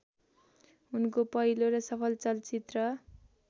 उनको पहिलो र सफल चलचित्र